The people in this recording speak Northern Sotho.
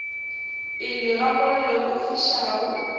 pele ga mollo o fišago